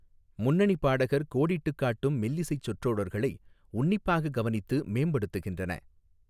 முன்னணிப் பாடகர் கோடிட்டுக் காட்டும் மெல்லிசைச் சொற்றொடர்களை உன்னிப்பாக கவனித்து மேம்படுத்துகின்றன.